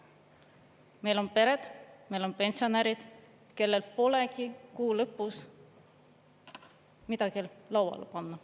Meil on pered, meil on pensionärid, kellel polegi kuu lõpus midagi lauale panna.